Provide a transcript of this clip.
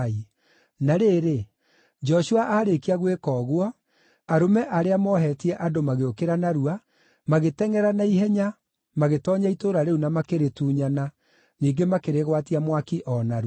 Na rĩrĩ, Joshua aarĩkia gwĩka ũguo, arũme arĩa moohetie andũ magĩũkĩra narua, magĩtengʼera na ihenya, magĩtoonya itũũra rĩu na makĩrĩtunyana, ningĩ makĩrĩgwatia mwaki o narua.